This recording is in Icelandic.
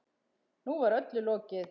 Nú var öllu lokið.